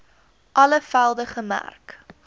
alle velde gemerk